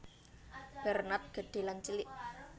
Bernard Gedhé lan Cilik